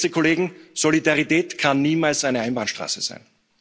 Geschätzte Kollegen, Solidarität kann niemals eine Einbahnstraße sein.